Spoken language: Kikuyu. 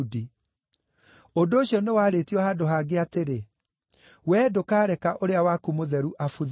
Ũndũ ũcio nĩwarĩtio handũ hangĩ atĩrĩ: “ ‘Wee ndũkareka ũrĩa waku Mũtheru abuthe.’